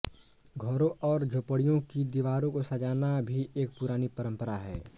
घरों तथा झोपड़ियों की दीवारों को सजाना भी एक पुरानी परंपरा है